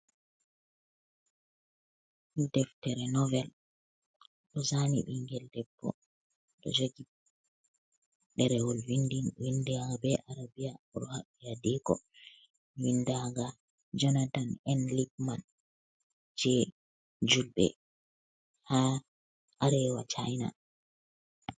Deftere novel, ɗo zani bingel debbo, ɗo jogi ɗerewol win daga be arabiya, o ɗo haɓɓi adiko , win ndagol jonatan N Lipman, je julɓe ha arewa China.